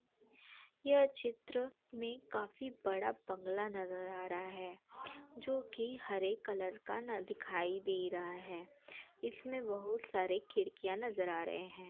यह चित्र में काफी बड़ा बंगला नज़र आ रहा है जोकि हरे कलर का न दिखाई दे रहा है। इसमे बहोत सारे खिड़कियाँ नज़र आ रहे हैं।